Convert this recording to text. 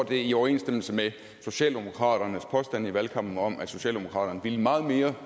det i overensstemmelse med socialdemokraternes påstande i valgkampen om at socialdemokraterne ville meget mere